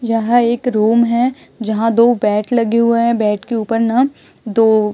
यहां एक रूम है जहां दो बेड लगे हुए हैं बेड के ऊपर में दो--